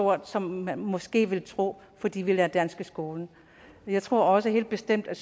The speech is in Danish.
meget som man måske ville tro fordi vi lærer dansk i skolen jeg tror også helt bestemt at